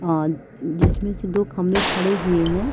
अ जिसमे से दो खम्बे खड़े हुए है।